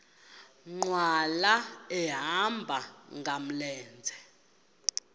nkqwala ehamba ngamlenze